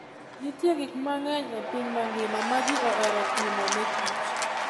Nitie gik mang'eny e piny mangima ma ji ohero timo ne kich